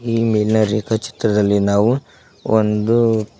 ಈ ಮೇಲಿನ ರೇಖಾಛಿತ್ರದಲ್ಲಿ ನಾವು ಒಂದು ಕ--